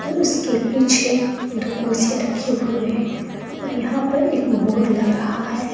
और उसके पीछे दो कुर्सियां रखी हुई है और यहां पर एक बोर्ड लग रहा है।